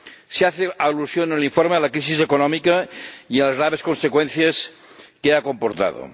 Se hace alusión en el informe a la crisis económica y a las graves consecuencias que ha comportado.